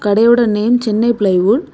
கடையோட name Chennai plywood .